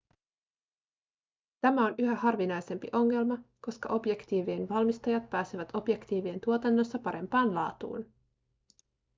tämä on yhä harvinaisempi ongelma koska objektiivien valmistajat pääsevät objektiivien tuotannossa parempaan laatuun